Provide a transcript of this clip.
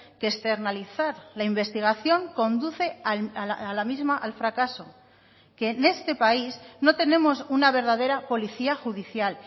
que externalizar la investigación conduce a la misma al fracaso que en este país no tenemos una verdadera policía judicial